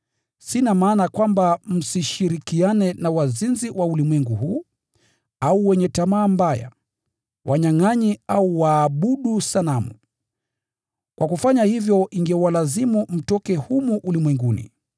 Sina maana kwamba msishirikiane na wazinzi wa ulimwengu huu, au wenye tamaa mbaya, wanyangʼanyi au waabudu sanamu. Kwa kufanya hivyo ingewalazimu mtoke ulimwenguni humu.